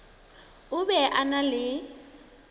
o be a na le